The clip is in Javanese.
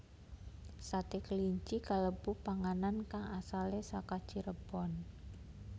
Sate kelinci kalebu panganan kang asalé saka Cirebon